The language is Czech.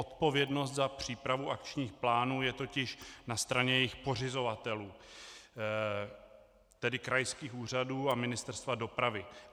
Odpovědnost za přípravu akčních plánů je totiž na straně jejich pořizovatelů, tedy krajských úřadů a Ministerstva dopravy.